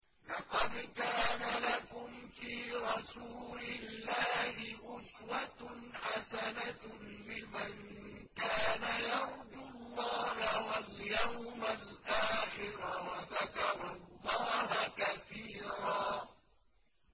لَّقَدْ كَانَ لَكُمْ فِي رَسُولِ اللَّهِ أُسْوَةٌ حَسَنَةٌ لِّمَن كَانَ يَرْجُو اللَّهَ وَالْيَوْمَ الْآخِرَ وَذَكَرَ اللَّهَ كَثِيرًا